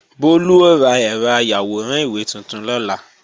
Bólú ó ra ẹ̀rọ ayàwòrán ìwé tuntun lọ́la